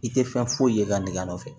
I tɛ fɛn foyi ye i ka nɛgɛ nɔfɛ